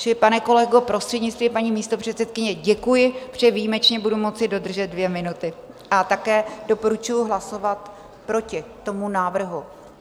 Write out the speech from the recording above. Čili pane kolego, prostřednictvím paní místopředsedkyně, děkuji, protože výjimečně budu moci dodržet dvě minuty, a také doporučuji hlasovat proti tomu návrhu.